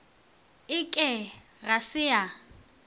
e ke ga se ya